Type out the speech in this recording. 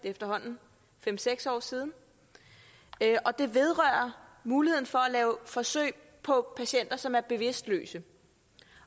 efterhånden fem seks år siden og det vedrører muligheden for at lave forsøg på patienter som er bevidstløse